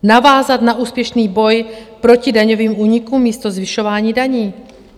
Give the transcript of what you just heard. Navázat na úspěšný boj proti daňovým únikům místo zvyšování daní.